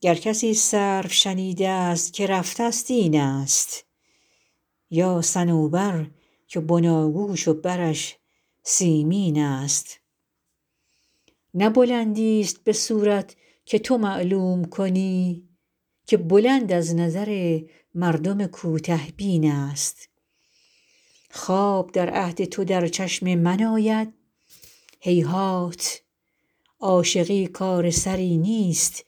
گر کسی سرو شنیده ست که رفته ست این است یا صنوبر که بناگوش و برش سیمین است نه بلندیست به صورت که تو معلوم کنی که بلند از نظر مردم کوته بین است خواب در عهد تو در چشم من آید هیهات عاشقی کار سری نیست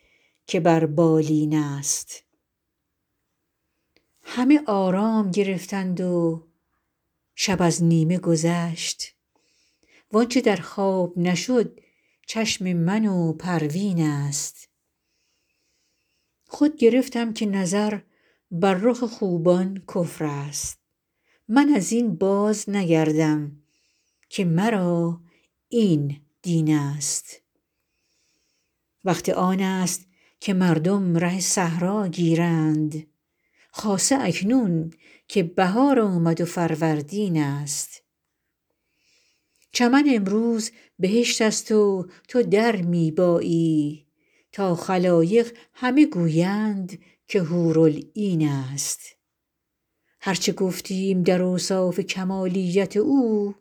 که بر بالین است همه آرام گرفتند و شب از نیمه گذشت وآنچه در خواب نشد چشم من و پروین است خود گرفتم که نظر بر رخ خوبان کفر است من از این بازنگردم که مرا این دین است وقت آن است که مردم ره صحرا گیرند خاصه اکنون که بهار آمد و فروردین است چمن امروز بهشت است و تو در می بایی تا خلایق همه گویند که حورالعین است هر چه گفتیم در اوصاف کمالیت او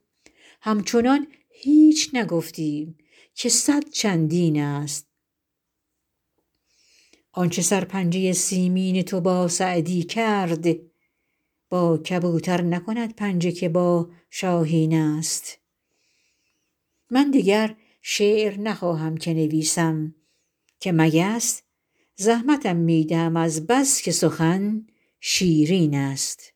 همچنان هیچ نگفتیم که صد چندین است آنچه سرپنجه سیمین تو با سعدی کرد با کبوتر نکند پنجه که با شاهین است من دگر شعر نخواهم که نویسم که مگس زحمتم می دهد از بس که سخن شیرین است